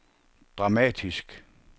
dramatisk